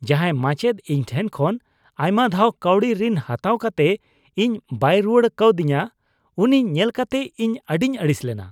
ᱡᱟᱦᱟᱸᱭ ᱢᱟᱪᱮᱫ ᱤᱧ ᱴᱷᱮᱱ ᱠᱷᱚᱱ ᱟᱭᱢᱟ ᱫᱷᱟᱣ ᱠᱟᱹᱣᱰᱤ ᱨᱤᱱ ᱦᱟᱛᱟᱣ ᱠᱟᱛᱮ ᱤᱧ ᱵᱟᱭ ᱨᱩᱣᱟᱹᱲ ᱠᱟᱹᱣᱫᱤᱧᱟ ᱩᱱᱤ ᱧᱮᱞ ᱠᱟᱛᱮ ᱤᱧ ᱟᱹᱰᱤᱧ ᱟᱹᱲᱤᱥ ᱞᱮᱱᱟ ᱾